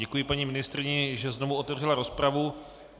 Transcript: Děkuji paní ministryni, že znovu otevřela rozpravu.